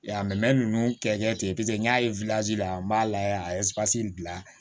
Ya mɛ ninnu kɛ ten pese n y'a ye la n b'a lajɛ a ye bila